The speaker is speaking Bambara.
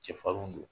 Cɛfarin don